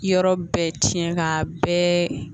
Yɔrɔ bɛɛ tiɲɛ k'a bɛɛ